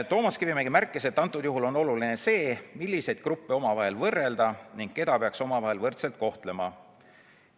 Toomas Kivimägi märkis, et antud juhul on oluline see, milliseid gruppe omavahel võrrelda ning keda peaks omavahel võrdselt kohtlema.